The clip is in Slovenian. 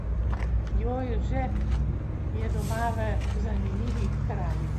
Jože je doma v zanimivih krajih.